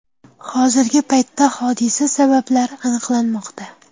Hozirgi paytda hodisa sabablari aniqlanmoqda.